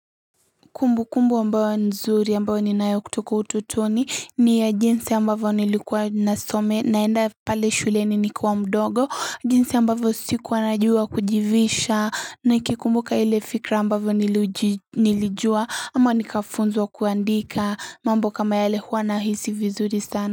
Kumbukumbu ambayo nzuri ambayo ninayo kutoka ututoni ni ya jinsi ambavyo nilikuwa naenda pale shuleni nikiwa mdogo jinsi ambavyo sikua najua kujivisha nikikumbuka ile fikra ambayo nilijua ama nikafunzwa kuandika mambo kama yale huwa nahisi vizuri sana.